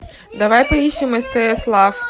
давай поищем стс лав